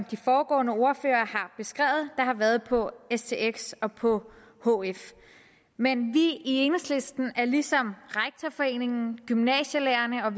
de foregående ordførere har været på stx og på hf men vi i enhedslisten er ligesom rektorforeningen gymnasielærerne og